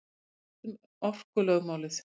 Allt um orkulögmálið.